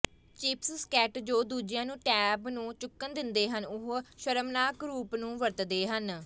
ਚਿਪਸਸਕੈਟ ਜੋ ਦੂਜਿਆਂ ਨੂੰ ਟੈਬ ਨੂੰ ਚੁੱਕਣ ਦਿੰਦੇ ਹਨ ਉਹ ਸ਼ਰਮਨਾਕ ਰੂਪ ਨੂੰ ਵਰਤਦੇ ਹਨ